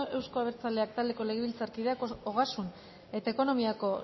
euzko abertzaleak taldeko legebiltzarkideak ogasun eta ekonomiako